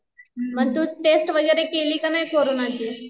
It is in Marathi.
मग तु टेस्ट वैगरे केली की नाही कोरोनाची